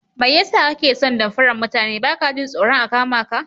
Mai yasa kake son damfaran mutane baka jin tsoron a kamaka?